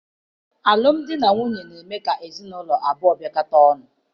Alụmdi na nwunye na-eme ka ezinaụlọ abụọ biakọta ọnụ.